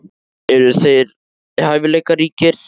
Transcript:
Eru þeir hæfileikaríkir?